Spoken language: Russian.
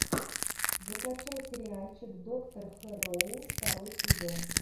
закачай сериальчик доктор хэрроу второй сезон